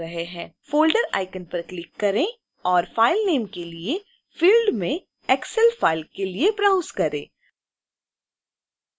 folder icon पर click करें और file name के लिए field में excel file के लिए ब्राउज करें